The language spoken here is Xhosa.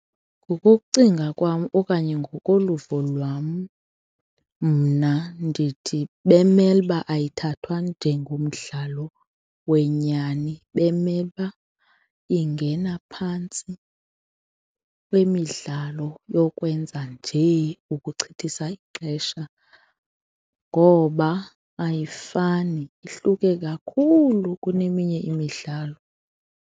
Ngokokucinga kwam okanye ngokoluvo lwam mna ndithi bemele uba ayithathwa njengomdlalo wenyani. Bemele uba ingena phantsi kwemidlalo yokwenza njee ukuchithisa ixesha ngoba ayifani, ihluke kakhulu kuneminye imidlalo.